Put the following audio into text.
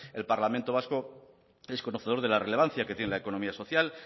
el parlamento vasco es conocedor de la relevancia que tiene la economía social